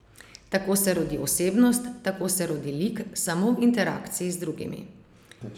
Tako se rodi osebnost, tako se rodi lik, samo v interakciji z drugimi.